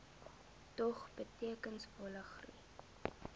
dog betekenisvolle groei